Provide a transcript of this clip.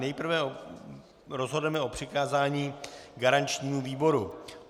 Nejprve rozhodneme o přikázání garančnímu výboru.